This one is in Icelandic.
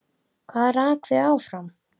Hvað rak þau áfram?